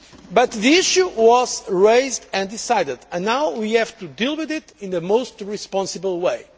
But the issue was raised and decided and now we have to deal with it in the most responsible way.